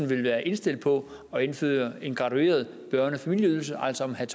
vil være indstillet på at indføre en gradueret børne og familieydelse altså om han